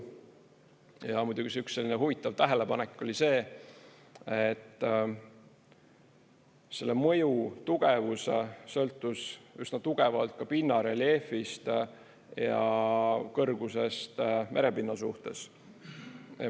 Ja muidugi see üks selline huvitav tähelepanek oli see, et selle mõju tugevus sõltus üsna tugevalt ka pinnareljeefist ja kõrgusest merepinna suhtes.